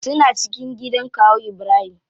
Suna cikin gidan kawu ibrahim.